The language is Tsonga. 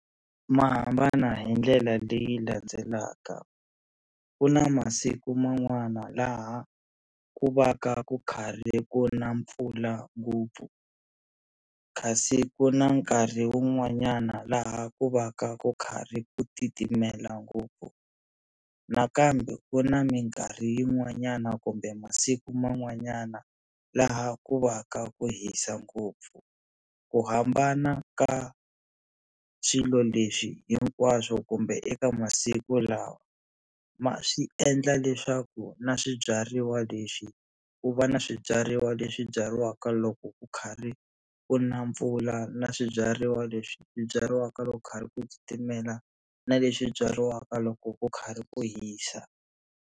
Ma hambana hi ndlela leyi landzelaka ku na masiku man'wana laha ku va ka ku karhi ku na mpfula ngopfu kasi ku na nkarhi wun'wanyana laha ku va ka ku karhi ku titimela ngopfu, nakambe ku na mikarhi yin'wanyana kumbe masiku man'wanyana laha ku va ka ku hisa ngopfu ku hambana ka swilo leswi hinkwaswo kumbe eka masiku lawa ma swi endla leswaku na swibyariwa leswi ku va na swibyariwa leswi byariwaka loko ku karhi ku na mpfula na swibyariwa leswi byariwaka loko ku khari ku titimela na leswi byariwaka loko ku karhi ku hisa.